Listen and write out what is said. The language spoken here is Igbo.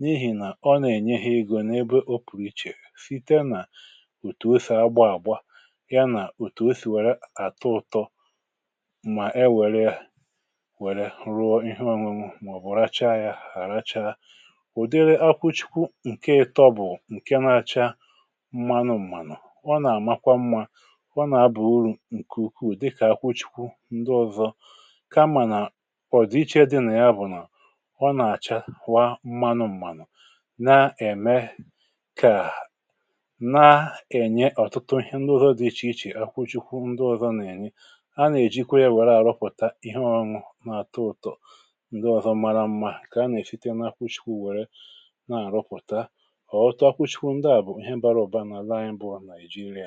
n’ihì nà ọ nà-ènye ihe egȯ n’ebe o pụ̀rụ̀ ichè sìte nà òtù o sì agba àgba ya nà òtù o sì wère àtọ ụ̀tọ mà e wère ya wère rụọ ihe ọ̀nụnụ̀ mà ọ̀bụ̀ racha ya hà racha ụ̀dịrị akwụchikwụ ǹke ịtọ bụ̀ ǹke na-acha ọ nà-àmakwa mmȧ ọ nà-abụ̀ uru̇ ǹkè ukwuù dịkà akwụchikwu ndị ọ̇zọ̇ ka mmà nà ọ̀dịiche dịnà ya bụ̀ nà ọ nà-àcha kwa mmȧnụ̇ m̀manụ na-ème kà na-ènye ọ̀tụtụ ihe ndị ọ̀zọ dị ichè ichè akwụchikwu ndị ọ̇zọ̇ nà-ènye anà-èjikwa ihe were àrụpụ̀ta ihe ọṅụ̇ n’àtọ ụ̀tọ ndị ọ̀zọ mara mma kà anà-èsite n’akwụchikwu wère na-àrụpụ̀ta ǹkẹ̀ bụ̀ àlà, ihe dị